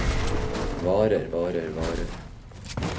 varer varer varer